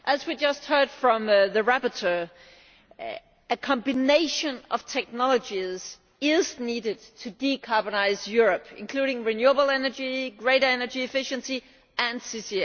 As we just heard from the rapporteur, a combination of technologies is needed to decarbonise Europe, including renewable energy, greater energy efficiency and CCS.